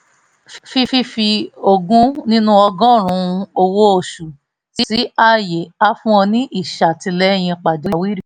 fífi ogún nínú ọgọ́rùn-ún owó oṣù sí àyè á fún ọ ní ìṣètìlẹyìn pàjáwìrì